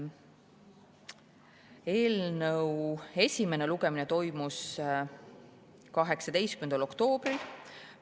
Eelnõu esimene lugemine toimus 18. oktoobril.